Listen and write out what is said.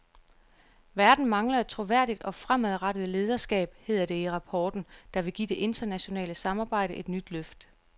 Verden mangler et troværdigt og fremadrettet lederskab, hedder det i rapporten, der vil give det internationale samarbejde et nyt løft.